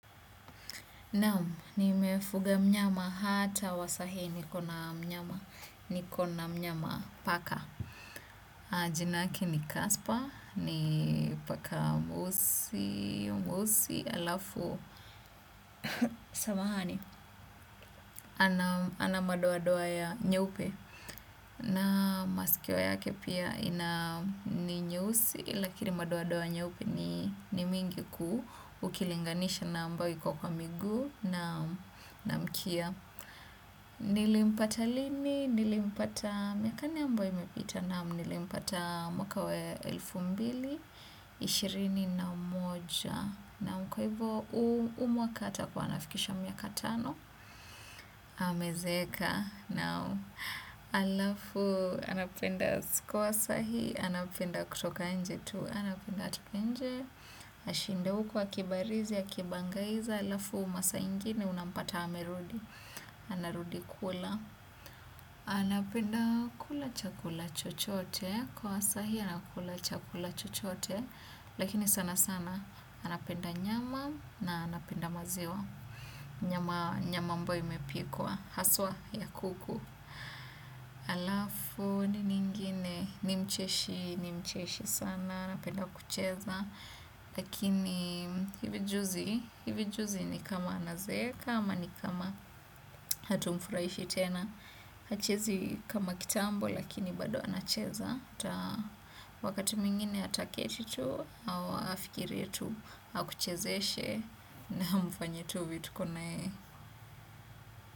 Naam, nimefuga mnyama hata wa saa hii ni kona mnyama, ni kona mnyama paka. Jina yake ni Kaspa, ni paka mweusi, mweusi, halafu, samahani, ana madoa-doa ya nyeupe. Na masikio yake pia ina ni nyeusi, lakini madoa-doa nyeupe ni mingi ku, ukilinganisha na ambayo iko kwa miguu na mkia. Nilimpata lini, nilimpata miaka nne ambayo imepita naam, nilimpata mwaka wa elfu mbili, ishirini na moja. Na kwa hivo huu mwaka ata kuwa anafikisha miaka tano, amezeeka naam halafu anapenda usiku wa saa hii, anapenda kutoka nje tu, anapenda atoke nje. Ashinde huko akibarizi akibangaiza halafu masaa ingine unampata amerudi. Anarudi kula. Anapenda kula chakula chochote. Kwa saa hii anakula chakula chochote. Lakini sana sana. Anapenda nyama na anapenda maziwa. Nyama ambayo imepikwa haswa ya kuku halafu nini ingine nimcheshi, nimcheshi sana. Anapenda kucheza. Lakini hivi juzi ni kama anazeeka ama ni kama hatumfurahishi tena. Hachezi kama kitambo lakini bado anacheza. Wakati mwingine ataketi tu au afikirie tu akuchezeshe. Na mfanye tu vituko na yeye.